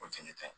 O fɛnɛ ta